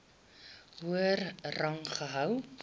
hoër rang gehou